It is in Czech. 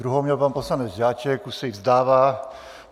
Druhou měl pan poslanec Žáček, už se jí vzdává.